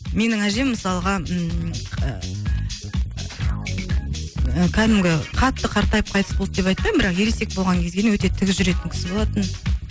менің әжем мысалға ммм ыыы кәдімгі қатты қартайып қайтыс болды деп айтпаймын бірақ ересек болған кезде өте тік жүретін кісі болатын